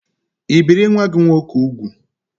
I biri nwa-gi nwoke úgwù?